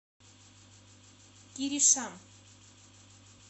киришам